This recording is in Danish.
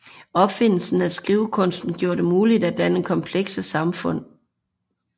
Opfindelsen af skrivekunsten gjorde det muligt at danne komplekse samfund